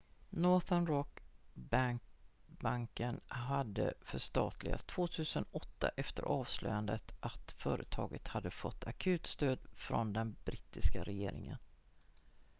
northern rock-banken hade förstatligats 2008 efter avslöjandet att företaget hade fått akutstöd från den brittiska regeringen